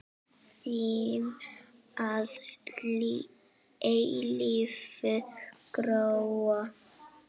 Þín að eilífu, Gróa.